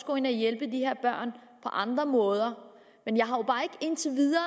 gå ind og hjælpe de her børn på andre måder men jeg har jo bare ikke indtil videre